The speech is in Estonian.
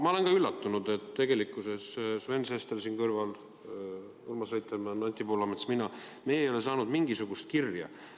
Ma olen ka üllatunud, et tegelikkuses Sven Sester siin kõrval, Urmas Reitelmann, Anti Poolamets ja mina – meie ei ole saanud mingisugust kirja.